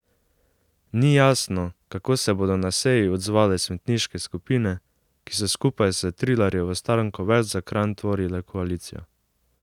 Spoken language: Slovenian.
Ni jasno, kako se bodo na seji odzvale svetniške skupine, ki so skupaj s Trilarjevo stranko Več za Kranj tvorile koalicijo.